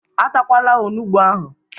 E takwala onugbu ahụ!